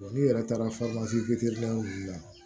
n'i yɛrɛ taara wulila